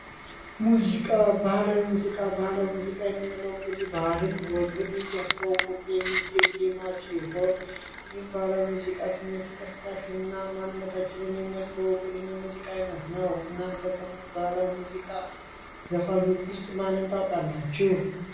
ሙዚቃ ባህላዊ ሙዚቃ ባህላዊ ሙዚቃ የምንለው እንግዲህ ባህልን ወግን እያስተዋወቀ የሚዜም ዜማ ሲሆን ይህ ሙዚቃ ስሜት ቀስቃሽ እና ማንነታችንን የሚያስተዋውቅልን የሙዚቃ አይነት ነው እናንተ ከባህላዊ የሙዚቃ ዘፋኞች ውስጥ ማንን ታውቃላችሁ?